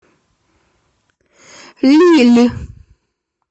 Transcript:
лилль